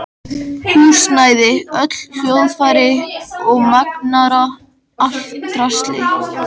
Húsnæði, öll hljóðfæri og magnara, allt draslið.